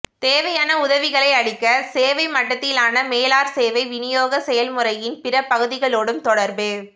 தேவையான உதவிகளை அளிக்க சேவை மட்டத்திலான மேலாளர் சேவை வினியோக செயல்முறையின் பிற பகுதிகளோடும் தொடர்பு